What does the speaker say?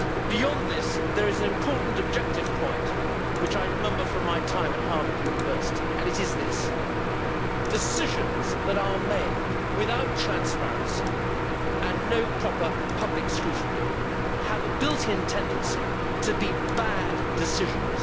Beyond this, there is an important objective point which I remember from my time at Harvard University, and it is this decisions that are made without transparency and no proper public scrutiny have a built in tendency to be bad decisions.